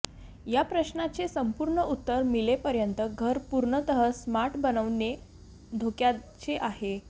या प्रश्नाचे संपूर्ण उत्तर मिळेपर्यंत घर पूर्णतः स्मार्ट बनवणे धोक्याचे आहे